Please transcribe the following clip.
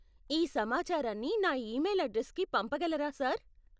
ఈ సమాచారాన్ని నా ఈమెయిల్ అడ్రెస్కి పంపగలరా, సార్?